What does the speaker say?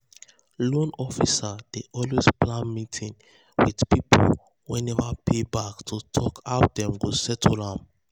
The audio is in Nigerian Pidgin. loan officer dey um always plan meeting with um people wey never um pay back to talk how dem go settle am.